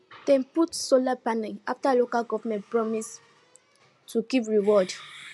dem put solar panel after local government promise to give reward